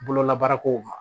Bololabaarakow ma